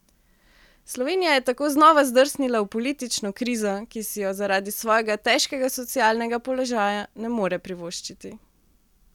Slovenija je tako znova zdrsnila v politično krizo, ki si jo zaradi svojega težkega socialnega položaja ne more privoščiti.